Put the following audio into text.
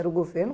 Era o governo?